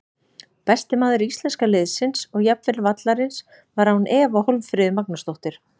Besti maður íslenska liðsins og jafnvel vallarins var án efa Hólmfríður Magnúsdóttir.